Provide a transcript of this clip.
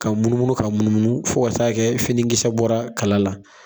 Ka munumunu ka munumunu fo ka taa kɛ finikisɛ bɔra kala la